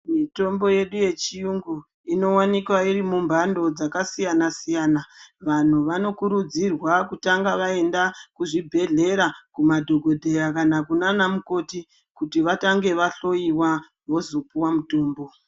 Mitombo yedu yechiyungu inowanikwa irimumbando dzakasiyana-siyana. Vanhu vanokurudzirwa kutanga vaenda kuzvibhehlera kumadhogodheya kana kunaamukoti kuti vatange vahloyiwa, vozopuwa mutombo.